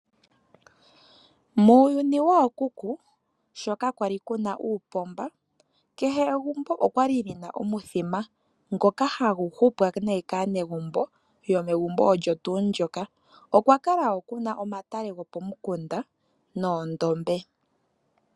Muuyuni woo kuku, sho kaa kwali kuna uupomba, kehe egumbo okwali lina omuthima ngoka ha gu hupwa nee kaa negumbo yo megumbo olyo tuu lyoka. Okwa kala wo kuna omatale go po mikunda noondombe.